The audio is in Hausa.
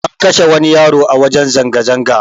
An kashe wani yaro a wajen zanga zanga